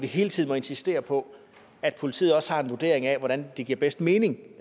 hele tiden insisterer på at politiet også har en vurdering af hvordan det bedst giver mening